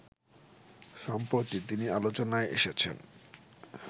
সম্প্রতি তিনি আলোচনায় এসেছেন